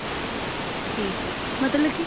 ਠੀਕ ਹੈ ਮਤਲਬ ਕੀ